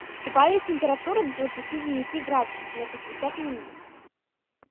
убавить температуру до двадцати девяти градусов на пятьдесят минут